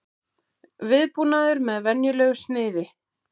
Viðbúnaður með venjulegu sniði